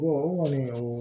o kɔni